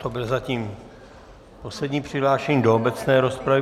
To byl zatím poslední přihlášený do obecné rozpravy.